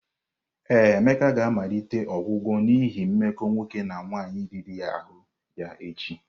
Ee, Emeka ga-amalite ọgwụgwọ n'ihi mmekọ nwoke na nwaanyị riri ahụ ya echi.